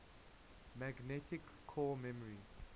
magnetic core memory